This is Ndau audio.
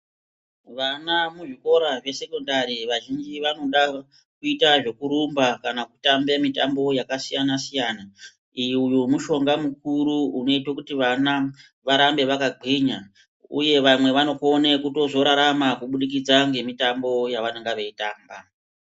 Vana muzvikora zvesekondari vazhinji vanoda kuita zvekurumba kana kutambe mitambo yakasiyana-siyana. Uyu mushonga mukuru unoite kuti vana varambe vakagwinya, uye vamwe vanokone kuzorarama kubudikidza ngemitambo yavanonga veitamba.